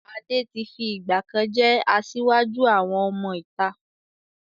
Adé tí fi ìgbàkan jẹ́ asiwaju àwọn ọmọ ìta.